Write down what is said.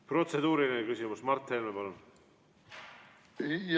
Protseduuriline küsimus, Mart Helme, palun!